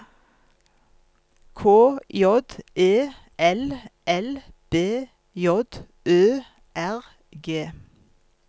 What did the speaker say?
K J E L L B J Ø R G